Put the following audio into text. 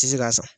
Tɛ se k'a san